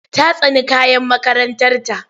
Ta tsani kayan makarantarta.